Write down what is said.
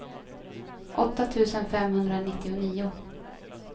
åtta tusen femhundranittionio